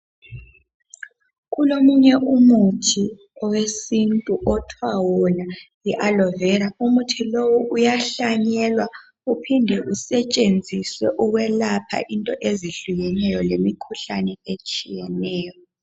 Kulomunye umuthi owesintu okuthiwa yona yi aloe vera umuthi lo uyahlanyelwa uphinde usetshenziswe ukwelapha into ezehlukeneyo lemikhuhlane etshiyeneyo.